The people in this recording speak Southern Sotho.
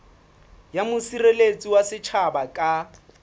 ya mosireletsi wa setjhaba ka